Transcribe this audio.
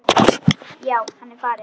Já, hann er farinn